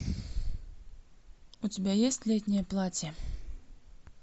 у тебя есть летнее платье